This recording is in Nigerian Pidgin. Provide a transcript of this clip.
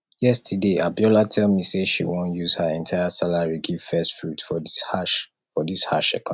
yesterday abiola tell me say she wan use her entire salary give first fruit for dis harsh for dis harsh economy